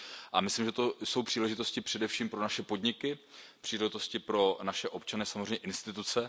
A myslím, že to jsou příležitosti především pro naše podniky, příležitosti pro naše občany, samozřejmě instituce.